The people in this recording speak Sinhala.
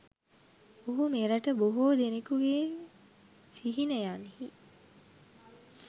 ඔහු මෙරට බොහෝ දෙනකුගේ සිහිනයන්හි